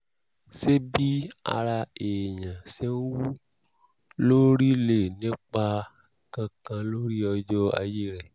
ṣé bí ara èèyàn ṣe ń wú lórí lè ní ipa kankan lórí ọjọ́ ayé rẹ̀?